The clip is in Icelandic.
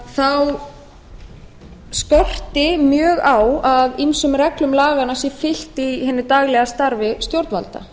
þá skorti mjög á að ýmsum reglum laganna sé fylgt í hinu daglega starfi stjórnvalda